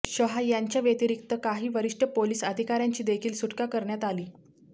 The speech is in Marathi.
शहा यांच्याव्यतिरिक्त काही वरिष्ठ पोलीस अधिकाऱ्यांची देखील सुटका करण्यात आली